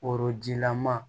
Korojilama